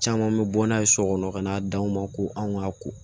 Caman mi bɔ n'a ye so kɔnɔ ka n'a d'aw ma ko anw ka ko